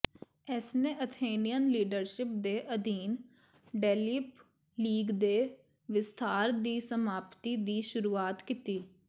ਇਸਨੇ Athenian leadership ਦੇ ਅਧੀਨ ਡੈਲਯਿਨ ਲੀਗ ਦੇ ਵਿਸਥਾਰ ਦੀ ਸਮਾਪਤੀ ਦੀ ਸ਼ੁਰੂਆਤ ਕੀਤੀ